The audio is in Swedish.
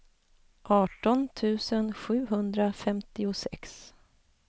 arton tusen sjuhundrafemtiosex